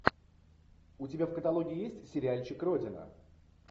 у тебя в каталоге есть сериальчик родина